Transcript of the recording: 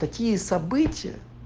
такие события